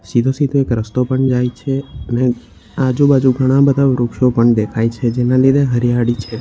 સીધો સીધો એક રસ્તો પણ જાય છે અને આજુબાજુ ઘણા બધા વૃક્ષો પણ દેખાય છે જેના લીધે હરિયાળી છે.